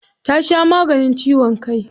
Ta sha maganin ciwon kai.